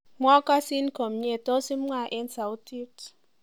Mwokosin komie tos imwa eng sautit